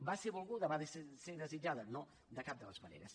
va ser volguda va ser desitjada no de cap de les maneres